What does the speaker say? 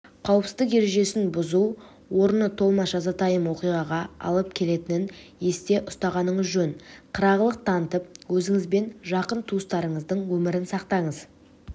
қауіпсіздік ережесін бұзу орны толмас жазатайым оиғаға алып келетінін есте ұстағаныңыз жөн қырағылық танытып өзіңізбен жақын туысқандарыңыздың өмірін сақтаңыз